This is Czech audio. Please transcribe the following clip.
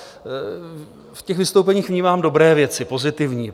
V těch vystoupeních vnímám dobré věci, pozitivní.